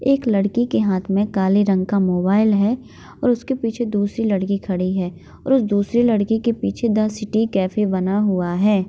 एक लड़की के हाथ में काले रंग का मोबाइल है और उसके पीछे दूसरी लड़की खड़ी है और उस दूसरी लड़की के पीछे द सिटी कैफ़े बना हुआ है।